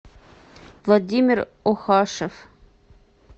владимир охашев